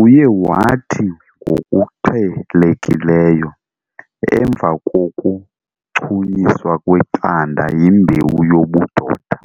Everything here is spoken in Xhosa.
Uye wathi ngokuqhelekileyo, emva kokuchunyiswa kweqanda yimbewu yobudoda